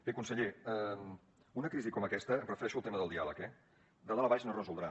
bé conseller una crisi com aquesta em refereixo al tema del diàleg eh de dalt a baix no es resoldrà